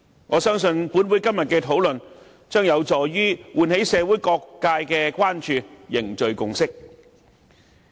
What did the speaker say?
我相信立法會今天的討論將有助喚起社會各界的關注，凝聚共識。